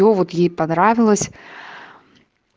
ну вот ей понравилось